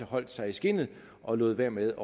holdt sig i skindet og lod være med